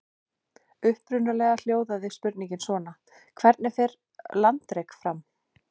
Upprunalega hljóðaði spurningin svona: Hvernig fer landrek fram?